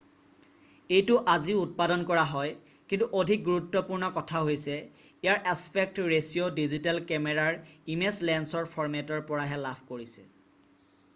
এইটো আজিও উৎপাদন কৰা হয় কিন্তু অধিক গুৰুত্বপূৰ্ণ কথা হৈছে ইয়াৰ এছপেক্ট ৰেচিঅ' ডিজিটেল কেমেৰাৰ ইমেজ ছেন্সৰ ফৰ্মেটৰ পৰাহে লাভ কৰিছে